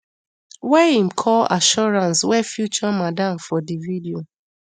wey im call assurance wey feature madam for di video